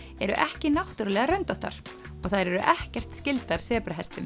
eru ekki náttúrulega röndóttar og þær eru ekkert skyldar